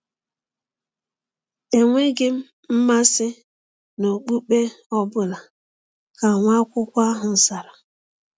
“Enweghị m mmasị n’okpukpe ọ bụla,” ka nwa akwụkwọ ahụ zara.